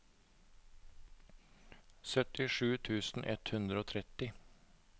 syttisju tusen ett hundre og tretti